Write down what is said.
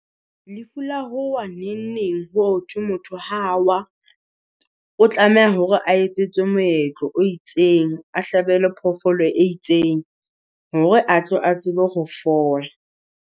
Lefu la ho wa neng neng hothwe motho ha a wa, o tlameha hore a etsetswe moetlo o itseng. A hlabelwe phofolo e itseng hore a tlo a tsebe ho fola.